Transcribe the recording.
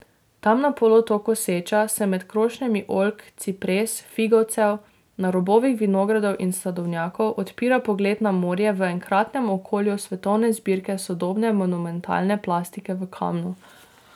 Tam na polotoku Seča se med krošnjami oljk, cipres, figovcev, na robovih vinogradov in sadovnjakov odpira pogled na morje v enkratnem okolju svetovne zbirke sodobne monumentalne plastike v kamnu.